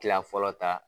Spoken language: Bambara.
Kila fɔlɔ ta